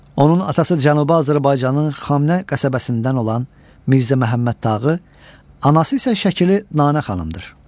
Onun atası Cənubi Azərbaycanın Xamnə qəsəbəsindən olan Mirzə Məhəmməd Tağı, anası isə şəkili Nanə xanımdır.